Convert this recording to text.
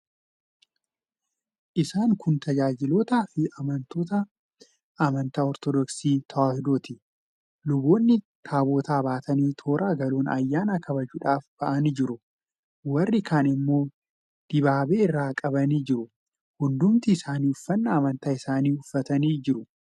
Isaan kun tajaajiltoota fi amantoota amantaa Ortodoksii Tewaahidooti. Luboonni Taabota baatanii toora galuun ayyaana kabajuudhaaf ba'anii jiru. Warri kaan immoo dibaabee irra qabaa jiru. Hundumti isaanii uffannaa amantaa isaanii uffatanii jiru.